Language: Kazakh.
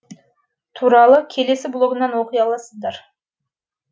туралы келесі блогымнан оқи аласыздар